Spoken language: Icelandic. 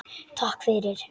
Takk fyrir